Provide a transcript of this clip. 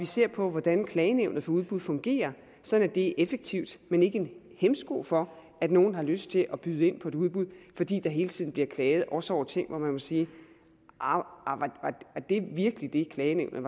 se på hvordan klagenævnet for udbud fungerer sådan at det er effektivt men ikke en hæmsko for at nogen har lyst til at byde ind på et udbud fordi der hele tiden bliver klaget også over ting hvor man må sige arh var det virkelig det klagenævnet